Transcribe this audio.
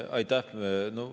Aitäh!